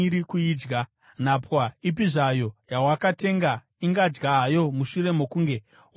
Nhapwa ipi zvayo yawakatenga ingadya hayo mushure mokunge wamudzingisa,